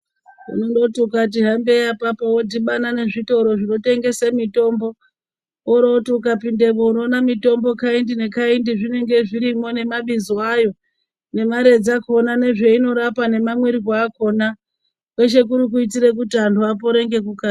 Unondoti ukati hambei apapo wodhibane nezvitoro zvinotengese mitombo woti ukapindemwo unoone mutombo kaindi nekaindi zvinenge zvirimwo nemabizo ayo, nemari dzakona nezveinorapa nemamwirwe akona kweshe kuri kuti antu apore ngekukasira.